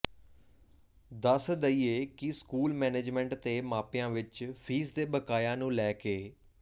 ਦੱਸ ਦਈਏ ਕਿ ਸਕੂਲ ਮੈਨੇਜਮੈਂਟ ਤੇ ਮਾਪਿਆਂ ਵਿੱਚ ਫੀਸ ਦੇ ਬਕਾਇਆ ਨੂੰ ਲੈ ਕੇ